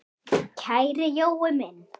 Kæri Jói minn!